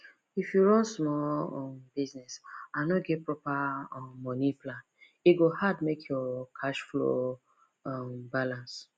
if you run small um business and no get proper um money plan e go hard make your cash flow um balance